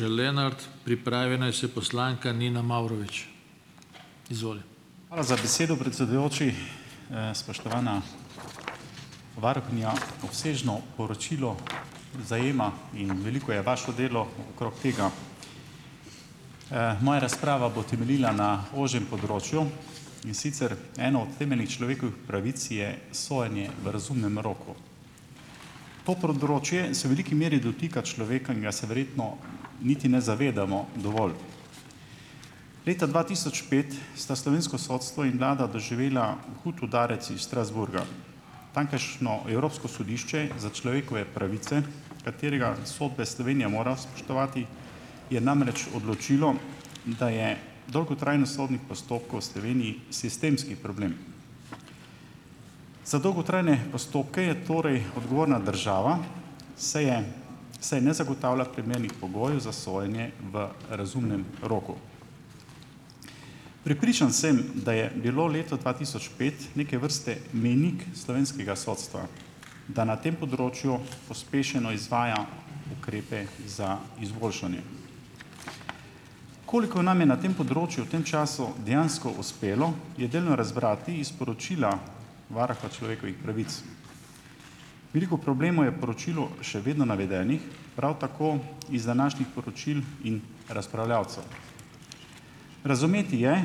Hvala za besedo, predsedujoči. Spoštovana varuhinja, obsežno poročilo zajema - in veliko je vašo delo okrog tega. Moja razprava bo temeljila na ožjem področju, in sicer ena od temeljnih človekovih pravic je sojenje v razumnem roku. To področje se veliki meri dotika človeka in ga se verjetno niti ne zavedamo dovolj. Leta dva tisoč pet sta slovensko sodstvo in vlada doživela hud udarec iz Strasbourga. Tamkajšnje Evropsko sodišče za človekove pravice, katerega sodbe Slovenija mora spoštovati, je namreč odločilo, da je dolgotrajnost sodnih postopkov v Sloveniji - sistemski problem. Za dolgotrajne postopke je torej odgovorna država, saj je saj ne zagotavlja primernih pogojev za sojenje v razumnem roku. Prepričan sem, da je bilo leto dva tisoč pet neke vrste mejnik slovenskega sodstva, da na tem področju pospešeno izvaja ukrepe za izboljšanje. Koliko nam je na tem področju v tem času dejansko uspelo, je delno razbrati iz poročila varuha človekovih pravic. Veliko problemov je v poročilu še vedno navedenih, prav tako iz današnjih poročil in razpravljavcev. Razumeti je,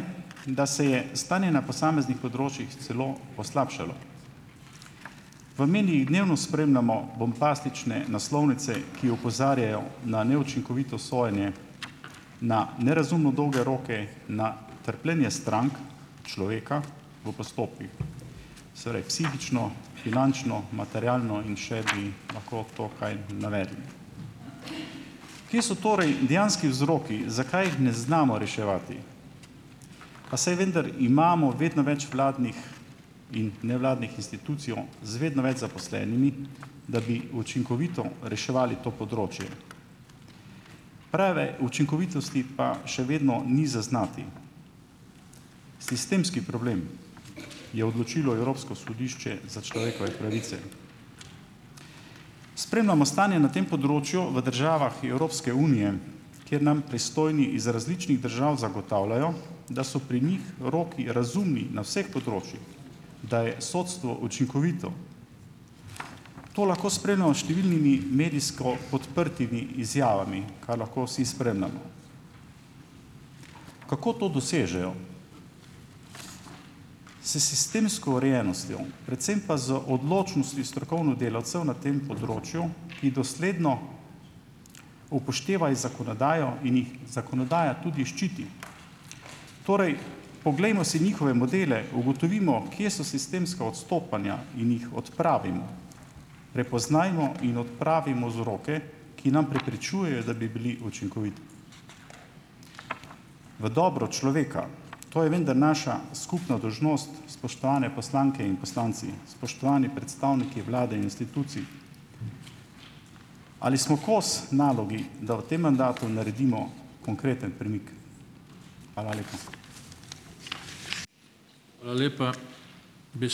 da se je stanje na posameznih področjih celo poslabšalo. V medijih dnevno spremljamo bombastične naslovnice, ki opozarjajo na neučinkovito sojenje, na nerazumno dolge roke, na trpljenje strank, človeka v postopkih. Torej psihično, finančno, materialno in še bi lahko to kaj navedli. Kje so torej dejanski vzroki, zakaj ne znamo reševati? Pa saj vendar imamo vedno več vladnih in nevladnih institucij z vedno več zaposlenimi, da bi učinkovito reševali to področje. Preveč učinkovitosti pa še vedno ni zaznati. "Sistemski problem", je odločilo Evropsko sodišče za človekove pravice. Spremljamo stanje na tem področju v državah Evropske unije, kjer nam pristojni iz različnih držav zagotavljajo, da so pri njih roki razumni na vseh področjih. Da je sodstvo učinkovito. To lahko spremljamo s številnimi medijsko podprtimi izjavami, kar lahko vsi spremljamo. Kako to dosežejo? S sistemsko urejenostjo, predvsem pa z odločnostjo strokovnih delavcev na tem področju, ki dosledno upoštevajo zakonodajo in jih zakonodaja tudi ščiti. Torej, poglejmo si njihove modele, ugotovimo, kje so sistemska odstopanja in jih odpravimo. Prepoznajmo in odpravimo vzroke, ki nam preprečujejo, da bi bili učinkoviti v dobro človeka, to je vendar naša skupna dolžnost, spoštovane poslanke in poslanci, spoštovani predstavniki vlade in institucij. Ali smo kos nalogi, da v tem mandatu naredimo konkreten premik? Hvala lepa.